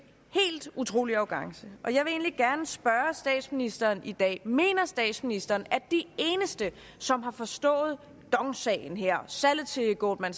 helt utrolig arrogance og jeg egentlig gerne spørge statsministeren i dag mener statsministeren at de eneste som har forstået dong sagen her og salget til goldman